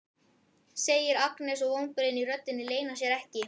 segir Agnes og vonbrigðin í röddinni leyna sér ekki.